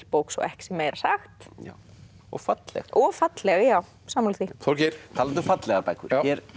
bók svo ekki sé meira sagt og falleg og falleg já sammála því Þorgeir talandi um fallegar bækur